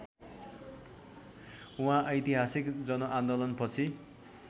उहाँ ऐतिहासिक जनआन्दोलनपछि